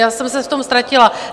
Já jsem se v tom ztratila.